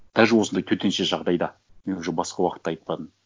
даже осындай төтенше жағдайда мен уже басқа уақытты айтпадым